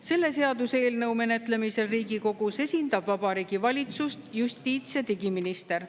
Selle seaduseelnõu menetlemisel Riigikogus esindab Vabariigi Valitsust justiits‑ ja digiminister.